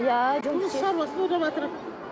иә жұмыс шаруасын ойлаватыр